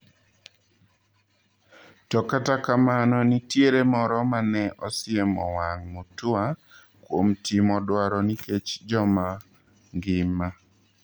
To kata kamano nitiere moro mane osiemo wang' Mutua kuom timo dwaro nikech joma ngima.